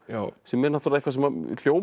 sem er eitthvað sem hljómar